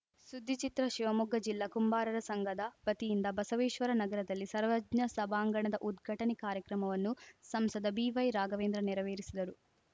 ಸುದ್ದಿಚಿತ್ರ ಶಿವಮೊಗ್ಗ ಜಿಲ್ಲಾ ಕುಂಬಾರರ ಸಂಘದ ವತಿಯಿಂದ ಬಸವೇಶ್ವರ ನಗರದಲ್ಲಿ ಸರ್ವಜ್ಞ ಸಭಾಂಗಣದ ಉದ್ಘಾಟನೆ ಕಾರ್ಯಕ್ರಮವನ್ನು ಸಂಸದ ಬಿವೈ ರಾಘವೇಂದ್ರ ನೆರವೇರಿಸಿದರು